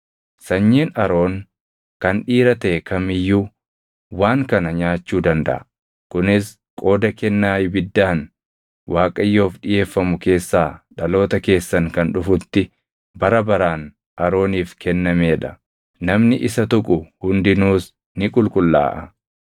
Sanyiin Aroon kan dhiira taʼe kam iyyuu waan kana nyaachuu dandaʼa. Kunis qooda kennaa ibiddaan Waaqayyoof dhiʼeeffamu keessaa dhaloota keessan kan dhufutti bara baraan Arooniif kennamee dha; namni isa tuqu hundinuus ni qulqullaaʼa.’ ”